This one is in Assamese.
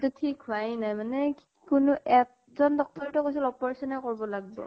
তো ঠিক হোৱায়ে নাই, মানে । কোনো এজন doctor য়ে তো কৈছিল operation য়ে কৰ-ব লাগ-ব ।